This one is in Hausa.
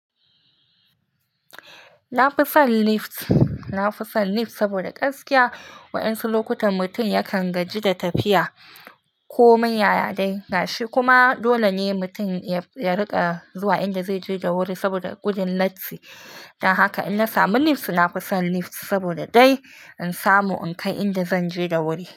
Na fi son lift, na fi son lift saboda gaskiya wa'yansu lokutan mutum yakan gaji da tafiya ko manya yaya dai gashi kuma dole ne mutum ya riƙa zuwa inda zai je da wuri saboda gudin latti. Dan haka in na samu lift, na fi son lift saboda dai in samu in kai inda zan je da wuri.